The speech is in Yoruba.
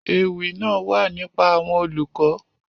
Èwi naa wa nipa awọn olukọ.